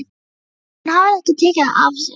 Hún hafði ekki tekið það af sér.